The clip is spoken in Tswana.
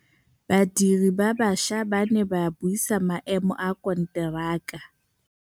Badiri ba baša ba ne ba buisa maêmô a konteraka.